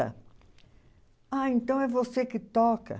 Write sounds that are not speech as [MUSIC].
[UNINTELLIGIBLE] Ah, então é você que toca.